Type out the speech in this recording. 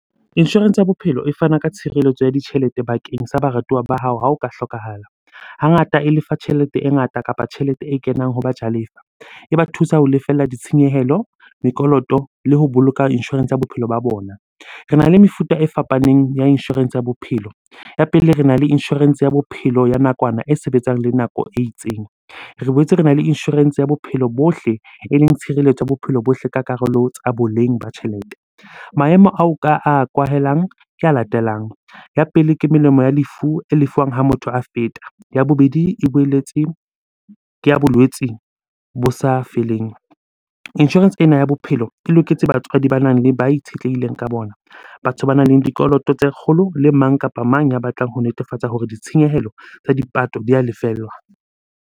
Insurance ya bophelo e fana ka tshireletso ya ditjhelete bakeng sa baratuwa ba hao ha o ka hlokahala. Hangata e lefa tjhelete e ngata kapa tjhelete e kenang ho bajalefa. E ba thusa ho lefella ditshenyehelo, mekoloto le ho boloka insurance ya bophelo ba bona. Rena le mefuta e fapaneng ya insurance ya Bophelo. Ya Pele, rena le insurance ya bophelo ya nakwana e sebetsang le nako e itseng. Re boetse rena le insurance ya bophelo bohle, eleng tshireletso ya bophelo bohle ka karolo tsa boleng ba tjhelete. Maemo ao ka a kwahelang ke a latelang. Ya pele, ke melemo ya lefu e lefuwang ha motho a feta. Ya bobedi, e boeletse ke ya bolwetsi bo sa feleng. Insurance ena ya bophelo e loketse batswadi banang le ba itshetlehileng ka bona, batho banang le dikoloto tse kgolo le mang kapa mang ya batlang ho netefatsa hore ditshenyehelo tsa dipato di a lefellwa.